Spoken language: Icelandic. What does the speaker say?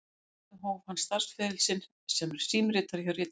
Að því loknu hóf hann starfsferil sinn sem símritari hjá Ritsíma